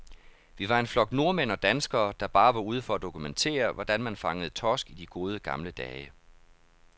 Vi var en flok nordmænd og danskere, der bare var ude for at dokumentere, hvordan man fangede torsk i de gode, gamle dage.